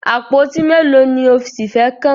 Àpótí mélòó ni o ṣì fẹ́ kàn?